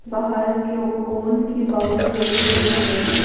बाहर क्यों कौन की बाउंड्री बनी हुई दिख रही--